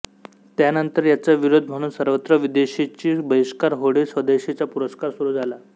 त्यानंतर याचा विरोध म्हणून सर्वत्र विदेशीचा बहिष्कार होळी स्वदेशीचा पुरस्कार सुरू झाला